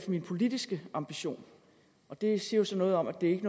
min politiske ambition og det siger jo så noget om at det ikke